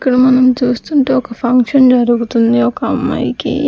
ఇక్కడ మనం చూస్తుంటే ఒక ఫంక్షన్ జరుగుతుంది ఒక అమ్మాయికి.